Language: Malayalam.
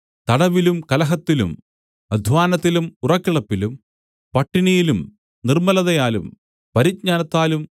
തടവിലും കലഹത്തിലും അദ്ധ്വാനത്തിലും ഉറക്കിളപ്പിലും പട്ടിണിയിലും നിർമ്മലതയാലും പരിജ്ഞാനത്താലും